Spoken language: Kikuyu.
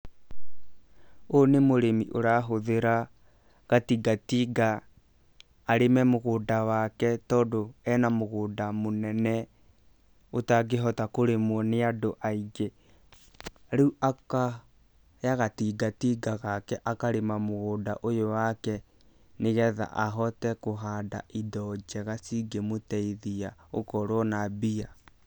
Ũyũ nĩ mũrĩmi ũrahũthĩra gatingatinga arĩme mũgũnda wake tondũ ena mũgũnda mũnene ũtangĩhota kũrĩmwo nĩ andũ aingĩ, rĩu akaoya gatingatinga gake akarĩma mũgũnda ũyũ wake nĩ getha ahote kũhanda indo njega cingĩmũteithia gũkorwo na mbia.